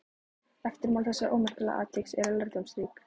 Eftirmál þessa ómerkilega atviks eru lærdómsrík.